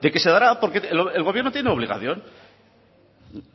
de que se dará porque el gobierno tiene obligación